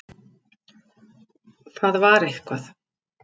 Það var eitthvað.